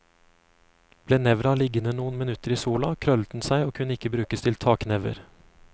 Ble nevra liggende noen minutter i sola, krøllet den seg og kunne ikke brukes til taknever.